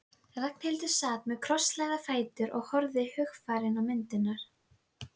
Og botnlaust hyldýpi niður á nautabanann.